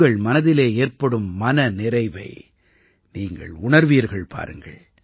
உங்கள் மனதிலே ஏற்படும் மன நிறைவை நீங்கள் உணர்வீர்கள் பாருங்கள்